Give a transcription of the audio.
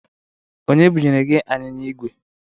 Onye bụnyere gị anyịnya ig we?